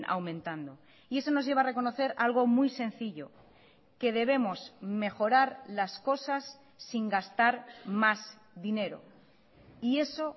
aumentando y eso nos lleva a reconocer algo muy sencillo que debemos mejorar las cosas sin gastar más dinero y eso